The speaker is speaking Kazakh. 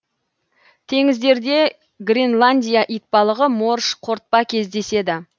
теңіздерде гренландия итбалығы морж қортпа кездеседі